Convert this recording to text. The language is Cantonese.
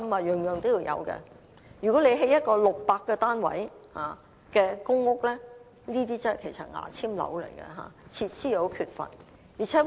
如果興建一個只有600個單位的"牙籤樓"公共屋邨，設施會很缺乏。